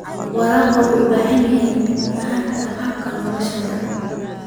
Waraabka wuxuu u baahan yahay fahamka hab-nololeedyada.